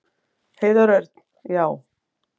Heiðar Örn: Já.